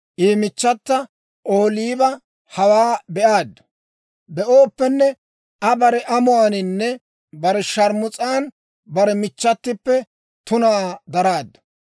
«I michchata Ohooliba hawaa be'aaddu; iza bare amuwaaninne bare sharmus'an bare michchatippe tunaa daraaddu.